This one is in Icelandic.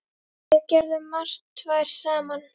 Við gerðum margt tvær saman.